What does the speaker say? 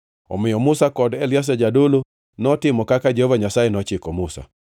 Omiyo Musa kod Eliazar jadolo notimo kaka Jehova Nyasaye nochiko Musa.